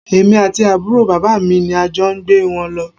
Èmi àti àbúrò bàbá mi ni a jọ gbé wọn lọ